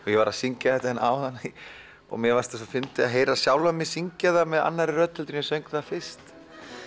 ég var að syngja þetta hérna áðan og mér fannst svo fyndið að heyra sjálfan mig syngja það með annarri rödd heldur en ég söng það fyrst